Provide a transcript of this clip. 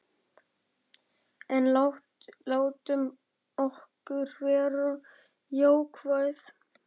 En látum okkur vera jákvæð.